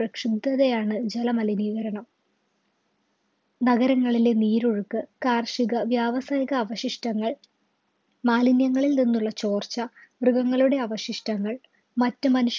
പ്രക്ഷുബ്ദതയാണ് ജലമലിനീകരണം നഗരങ്ങളിലെ നീരൊഴുക്ക് കാർഷിക വ്യാവസായിക അവശിഷ്ടങ്ങൾ മാലിന്യങ്ങളിൽ നിന്നുള്ള ചോർച്ച മൃഗങ്ങളുടെ അവശിഷ്ടങ്ങൾ മറ്റു മനുഷ്യ